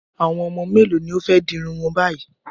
Àwọn ọmọ mélòó ni ó fẹ́ di irun wọn báyìí?